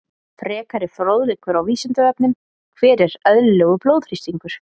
Frekari fróðleikur á Vísindavefnum: Hver er eðlilegur blóðþrýstingur?